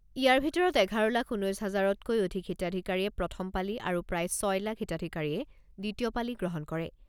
ইয়াৰ ভিতৰত এঘাৰ লাখ ঊনৈছ হাজাৰতকৈ অধিক হিতাধিকাৰীয়ে প্ৰথমপালি আৰু প্ৰায় ছয় লাখ হিতাধিকাৰীয়ে দ্বিতীয়পালি গ্ৰহণ কৰে।